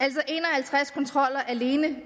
halvtreds kontroller alene